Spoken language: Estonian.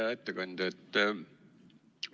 Hea ettekandja!